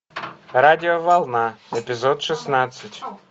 радиоволна эпизод шестнадцать